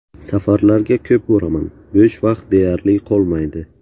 Safarlarga ko‘p boraman, bo‘sh vaqt deyarli qolmaydi.